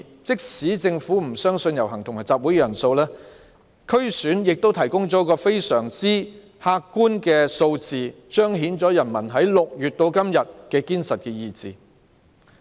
即使政府不相信遊行和集會人數，區議會選舉亦提供非常客觀的數字，彰顯了人民由6月至今的堅實意志。